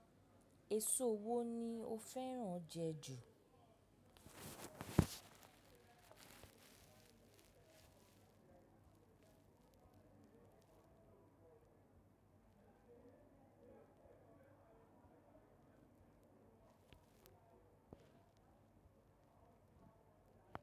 Èso wo ni ó fẹ́ràn jẹ ju.